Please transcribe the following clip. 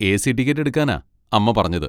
A. C ticket എടുക്കാനാ അമ്മ പറഞ്ഞത്.